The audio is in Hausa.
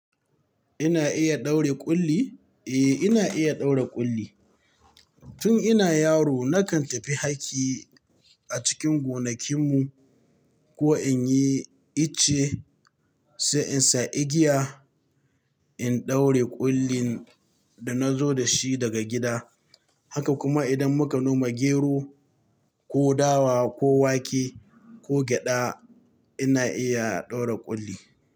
Ina iya ɗaure ƙulli? Eh ina iya ɗaure ƙulli. Tun ina yaro nakan tafi haki a cikin gonakin mu ko in yi ice sai in sa igiya in ɗaure ƙullin da nazo da shi daga gida. Haka kuma idan muka noma gero, ko dawa, ko wake ko gyaɗa ina iya ɗaure ƙulli.